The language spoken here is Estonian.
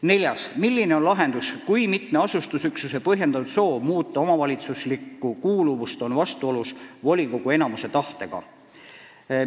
Neljas küsimus: "Milline on lahendus, kui mitme asustusüksuse põhjendatud soov muuta omavalitsuslikku kuuluvust on vastuolus volikogu enamuse tahtega?